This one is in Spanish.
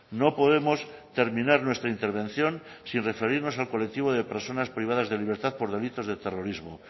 no podemos terminar nuestra intervención sin referirnos al colectivo de personas privadas de libertad por delitos de terrorismo